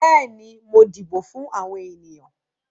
Bẹ́ẹ̀ni, mo dìbò fún àwọn ènìyàn.